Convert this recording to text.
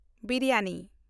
biryani